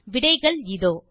விடைகள் இதோ 1